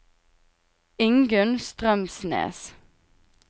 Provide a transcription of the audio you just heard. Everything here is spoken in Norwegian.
Ingunn Strømsnes